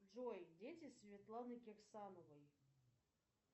джой дети светланы кирсановой